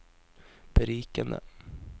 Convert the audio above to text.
berikende